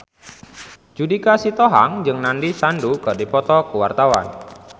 Judika Sitohang jeung Nandish Sandhu keur dipoto ku wartawan